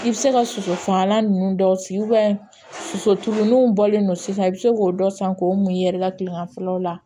I bɛ se ka soso fagalan ninnu dɔw sigi sosotuguninw bɔlen don sisan i bɛ se k'o dɔ san k'o mun i yɛrɛ ka kileganfɛ la